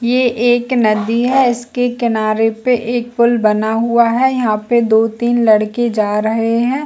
ये एक नदी है इसके किनारे पे एक पूल बना हुआ है यहाँ पे दो तीन लड़के जा रहे है।